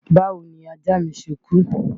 Báwo ni ajá mi ṣe kú?